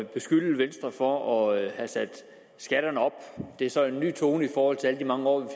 at beskylde venstre for at have sat skatterne op det er så en ny tone i forhold til alle de år hvor